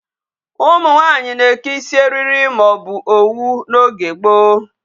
Ụmụ nwaanyi na-eke isi eriri ma o bu owu n'oge gboo.